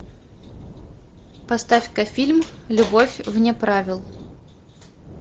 поставь ка фильм любовь вне правил